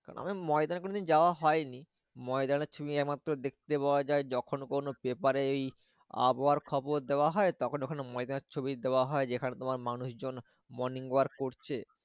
ময়দানে কোনোদিন যাওয়া হয়নি। ময়দানের ছবি এক মাত্র দেখতে পাওয়া যায় যখন কোনো paper এ ওই আবহাওয়ার খবর দেওয়া হয় তখন ওখানে ময়দানের ছবি দেওয়া হয় যেখানে তোমার মানুষজন morning work করবেন